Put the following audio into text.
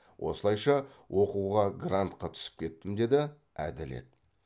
осылайша оқуға грантқа түсіп кеттім деді әділет